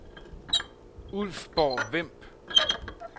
Ulfborg-Vemb